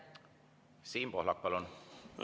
Siim Pohlak, palun!